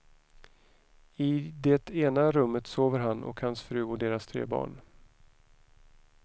I det ena rummet sover han och hans fru och deras tre barn.